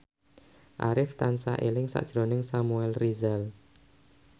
Arif tansah eling sakjroning Samuel Rizal